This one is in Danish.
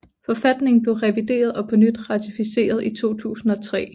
Forfatningen blev revideret og på ny ratificeret i 2003